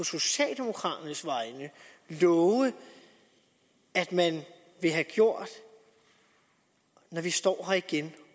socialdemokraternes vegne love at man vil have gjort når vi står her igen